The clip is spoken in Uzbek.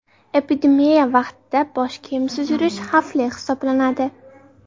Epidemiya vaqtida bosh kiyimsiz yurish xavfli hisoblanadi.